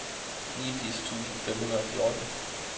niogfirs tusind fem hundrede og fjorten